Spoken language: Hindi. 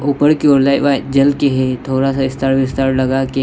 ऊपर की ओर लाइ व्हाइ जेल के है थोड़ा सा इस्टार विस्टार लगाके --